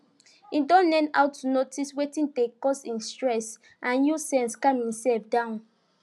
he don learn how to notice wetin dey cause him stress and use sense calm himself down